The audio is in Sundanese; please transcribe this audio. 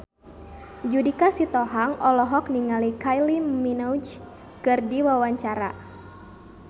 Judika Sitohang olohok ningali Kylie Minogue keur diwawancara